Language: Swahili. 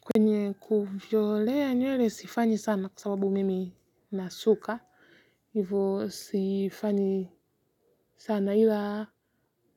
Kwenye kujitolea nywele sifanyi sana kwa sababu mimi nasuka hivyo sifanyi sana ila